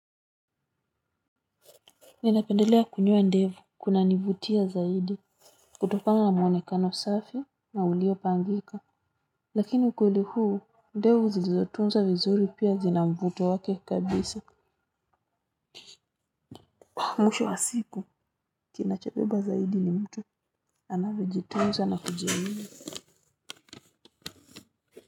Ninapendelea kunyoa ndevu kunanivutia zaidi kutokana na mwonekano safi na uliopangika lakini ukweli huu ndevu zilizotunzwa vizuri pia zina mvuto wake kabisa mwisho wa siku kinachobeba zaidi ni mtu anavyojitunza na kujiamini.